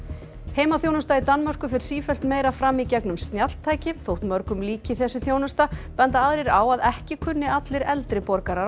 heimaþjónusta í Danmörku fer sífellt meira fram í gegnum snjalltæki þótt mörgum líki þessi þjónusta benda aðrir á að ekki kunni allir eldri borgarar